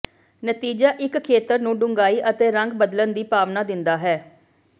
ਨਤੀਜਾ ਇੱਕ ਖੇਤਰ ਨੂੰ ਡੂੰਘਾਈ ਅਤੇ ਰੰਗ ਬਦਲਣ ਦੀ ਭਾਵਨਾ ਦਿੰਦਾ ਹੈ